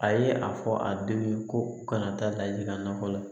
A ye a fɔ a denw ye ko u kana taa lajigin ka nɔgɔ la